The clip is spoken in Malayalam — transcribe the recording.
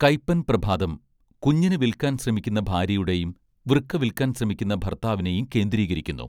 കയ്പ്പൻ പ്രഭാതം കുഞ്ഞിനെ വിൽക്കാൻ ശ്രമിക്കുന്ന ഭാര്യയുടെയും വൃക്ക വിൽക്കാൻ ശ്രമിക്കുന്ന ഭർത്താവിനെയും കേന്ദ്രീകരിക്കുന്നു